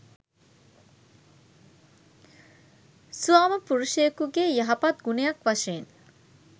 ස්වාමිපුරුෂයෙකුගේ යහපත් ගුණයක් වශයෙන්